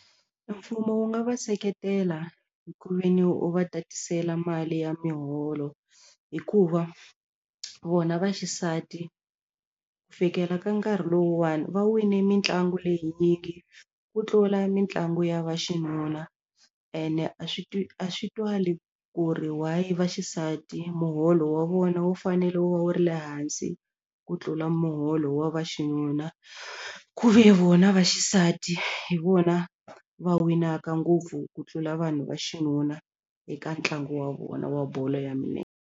E mfumo wu nga va seketela hi ku ve ni u va tatisela mali ya miholo hikuva vona va xisati fikela ka nkarhi lowuwani va wine mitlangu leyinyingi ku tlula mitlangu ya vaxinuna ene a swi a swi twali ku ri why va xisati muholo wa vona wu fanele wu wu ri le hansi ku tlula muholo wa vaxinuna ku ve vona va xisati hi vona va winaka ngopfu ku tlula vanhu va xinuna eka ntlangu wa vona wa bolo ya .